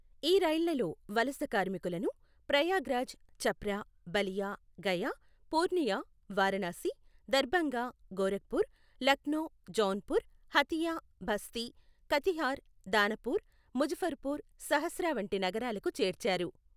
ఈ రైళ్లలో వలస కార్మికులను, ప్రయాగ్రాజ్, ఛప్రా, బలియా, గయా, పూర్నియా, వారణాసి, దర్భాంగా, గోరఖ్పూర్, లక్నో, జౌన్పూర్, హతియా, బస్తీ, కతిహార్, దానపూర్, ముజఫర్పూర్, సహర్సా వంటి నగరాలకు చేర్చారు.